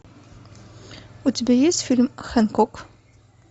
у тебя есть фильм хэнкок